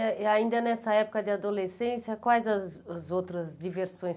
Ãh e ainda nessa época de adolescência, quais as os outras diversões?